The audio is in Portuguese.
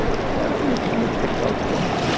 Era era isso, era o blackout que existia.